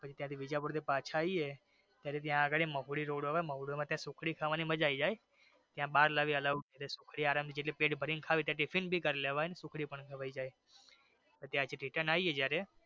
પછી જયારે વિદ્યાપુર થી પાછા આવી ત્યારે જ્યાં આગળ મહોરી રોડ મોવડી માં ત્યાં સુખડી ખાવાની મજા આવી જાય ત્યાં બાર લઇ આવાનું allowed છે સુખડી આરામ થી પેટ ભરી ને ખાઈ લેવાઈ ત્યાં ટિફિન પણ કરી લેવાઈ ને સુખડી ભી ખાઈ લેવાઈ પછી ત્યાંથી return આવીએ જયારે.